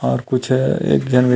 और कुछ है एक झन --